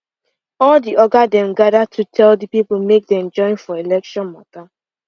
all the oga dem gather to tell the people make they join for election matter